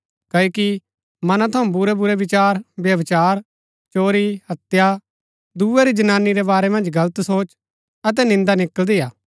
क्ओकि मना थऊँ बुरैबुरै विचार व्यभिचार चोरी हत्या दूये री जनानी रै बारै मन्ज गलत सोच अतै निन्दा निकळदी हा